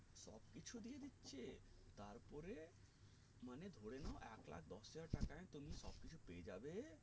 ধরে নাও একলাখ দশ হাজার টাকায় তুমি সব কিছু পেয়ে যাবে